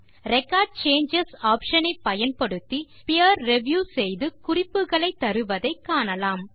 record changes option ஐ பயன்படுத்தி peer review செய்து குறிப்புகளை தருவதை காணலாம்